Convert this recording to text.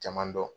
Caman dɔn